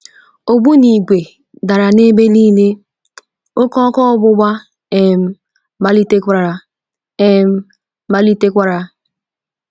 Ogbu n'ìgwè dara n’ebe nile, oké ọkụ ọgbụgba um malitekwara! um malitekwara!